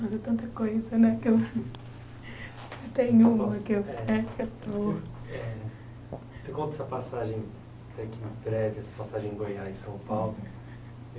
Mas é tanta coisa, né, que eu tenho... Você conta essa passagem aqui prévia, essa passagem em Goiás, em São Paulo.